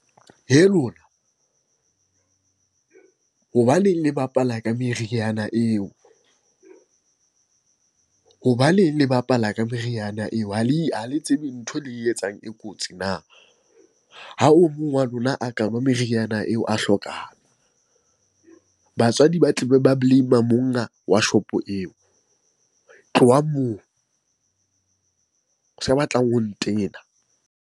Hee lona! Hobaneng le bapala ka meriana eo, hobaneng le bapala ka meriana eo? Ha le tsebe ntho e le etsang e kotsi na? Ha o mong wa lona a ka nwa meriana eo a hlokahala, batswadi ba tlabe ba blame-er monga wa shopo eo. Tlohang moo! Sa batlang ho ntena.